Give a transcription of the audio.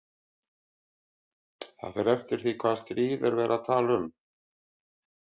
Það fer eftir því hvaða stríð er verið að tala um